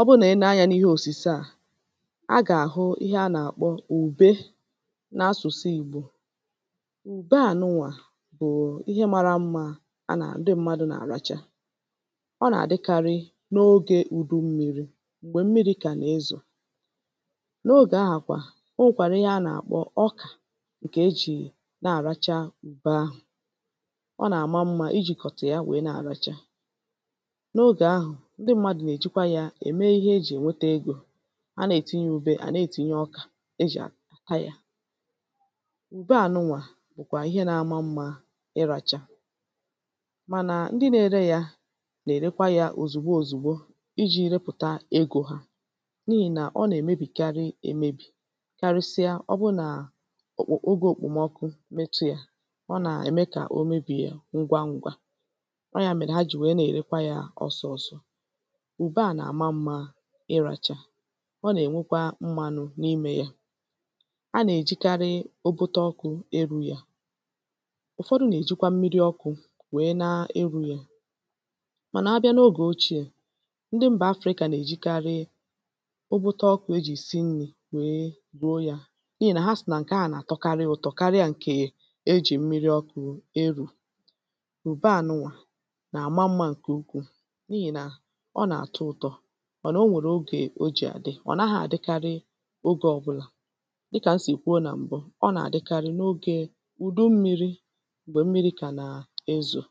ọ bụrụ nà i nee anyā n’ihe òsùse à, a gà-àhụ ihe a nà-akpọ ùbe n’asụ̀sụ ìgbò ùbe ànụà bụ̀ ihe mārā mmā a nà ndị m̄mādụ̀ nà-àlacha ọ nà-àdịkarị n’ogē ùdu mmīrī m̀gbè mmirī kà na-ezò n’ogè ahà kwà o nwèkwàrà ihe a nà-àkpọ ọkà ǹkè ejì nà-àracha ùbe ahụ̀ ọ nà-àma mmā ijikọ̀tà ya nwèe na-àracha n’ogè ahụ̀ ndị m̄mādụ̀ nà-èjikwa yā ème ihe ejì ènwete egō a na-ètinye ùbe à na-ètinye ọkà ejì àta yā ùbe ànụà bụ̀kwà ihe nā-āmā mmā ịrāchā mànà ndị nā-ērē yà nà-èrekwa yā òzìgbo òzìgbo ijī repùta egō hā n’ihì nà ọ nà-èmebìkarị ēmēbì karịsịa ọ bụ nà òkpò ogē òkpòmọkụ metu yā ọ nà-ème kà o mebìe ngwa n̄gwā ọọ̀ ya mèrè ha jì nwèe na-èrekwa yā ọsọ ọ̄sọ̄ ùbe à nà-àma mmā ịrāchā ọ nà-ènwekwa mmānụ̄ n’imē yā a nà-èjikarị okoto ọkụ̄ erū yà ụ̀fọdụ nà-èjikwa mmiri ọkụ̄ nwèe na-erū yà mànà abịa n’ogè ocheè ndị mbà Afrɪ̄cà nà-èjikarị ụgwụtọ ọkụ̄ ejì si nrī nwèe ruo yā n’ihì nà ha sị̀ nà ǹkè ahụ̀ nà-àtọkarị ụ̄tọ̄ karịa ǹkè ejì mmiri ọkụ̄ erù ùbe ànụà nà-àma mmā ǹkè ukwuù n’ihì nà ọ nà-àtọ ụ̄tọ̄ mànà o nwèrè ogè o jì àdị ọ̀ naghị̄ àdịkarị ogē ọbụlà dịkà m sì kwuo nà m̀bụ ọ nà-àdịkarị n’ogē ùdu mmīrī m̀gbè mmirī kà nà-ezò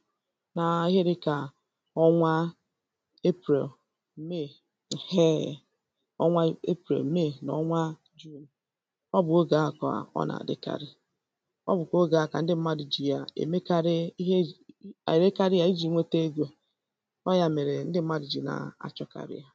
na ihe dị̄kà ọnwa april, may ẹ̀hẹẹ̀ ọnwa april, may nà ọnwa ọ bụ̀ ogè ahụ̀ kà ọ nà-àdịkarị ọ bụ̀kwà ogè ahụ̀ kà ndị m̄mādụ̀ jì yà èmekarị ihe ejì èrekarị yā ijī nwete egō ọọ̀ ya mèrè ndị m̄mādụ̀ jì na-àchọkarị yā